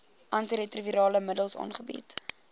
antiretrovirale middels aangebied